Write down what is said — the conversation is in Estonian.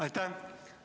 Aitäh!